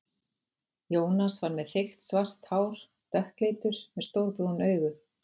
Jónas var með þykkt svart hár, dökkleitur, með stór brún augu.